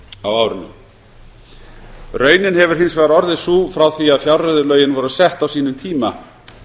á árinu raunin hefur hins vegar orðið sú að frá því að fjárreiðulögin voru sett á sínum tíma